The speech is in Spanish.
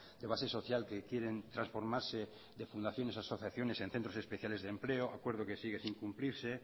de base social que quieren transformarse de fundaciones a asociaciones en centros especiales de empleo acuerdo que sigue sin cumplirse